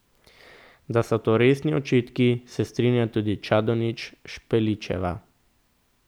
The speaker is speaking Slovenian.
Da so to resni očitki, se strinja tudi Čadonič Špeličeva.